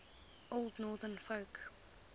old northern folk